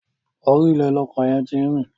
Orí ilẹ̀ ni ọkọ̀ yẹn ti rìn.